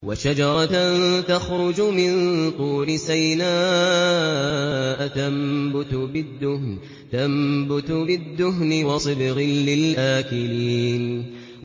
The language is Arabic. وَشَجَرَةً تَخْرُجُ مِن طُورِ سَيْنَاءَ تَنبُتُ بِالدُّهْنِ وَصِبْغٍ لِّلْآكِلِينَ